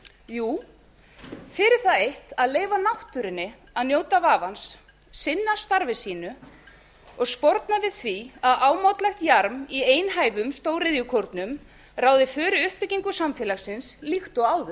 jú fyrir það eitt að leyfa náttúrunni að njóta vafans sinna starfi sínu og sporna við því að ámátlegt jarm í einhæfum stóriðjukórnum ráði för við uppbyggingu samfélagsins líkt og áður